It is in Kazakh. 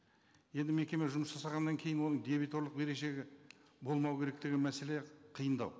енді мекеме жұмыс жасағаннан кейін оның дебиторлық берешегі болмау керек деген мәселе қиындау